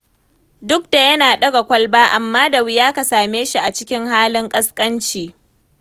Duk da yana ɗaga kwalba, amma da wuya ka same shi a cikin halin ƙasƙanci.